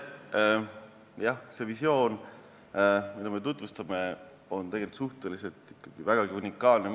Jah, see visioon, mida me tutvustame, on maailmas ikkagi väga unikaalne.